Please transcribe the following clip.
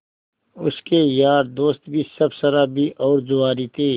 उसके यार दोस्त भी सब शराबी और जुआरी थे